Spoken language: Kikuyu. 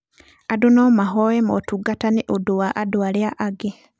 Andũ no mahoe motungata nĩ ũndũ wa andũ arĩa angĩ.